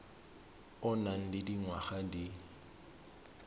o nang le dingwaga di